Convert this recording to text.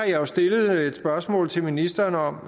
jeg stillet et spørgsmål til ministeren om